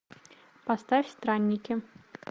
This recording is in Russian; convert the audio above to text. поставь странники